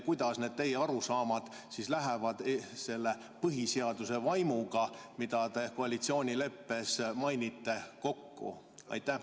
Kuidas need teie arusaamad lähevad kokku selle põhiseaduse vaimuga, mida te koalitsioonileppes mainite?